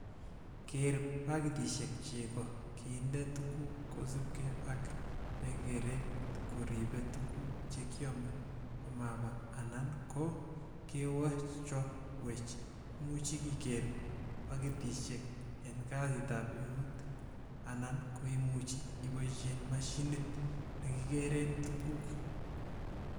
Keer pakitisiek cheko kinde tuguk kosiibge ak ne keret koriibe tuguk chekiome komabaa anan ko kewechowech. Imuche ikeer pakitisiek en kasit ab eut anan koimuche iboishen mashinit nekikeren tuguk.